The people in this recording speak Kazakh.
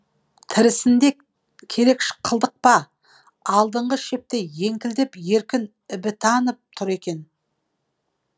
тірісінде керек қылдық па алдыңғы шепте еңкілдеп еркін ібітанов тұр екен